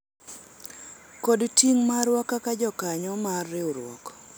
kod ting' marwa kaka jokanyo mar riwruok